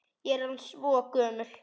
Ég er orðin svo gömul.